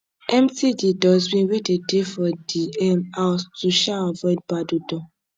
empty di dustbin wey de dey for di um house to um avoid bad odor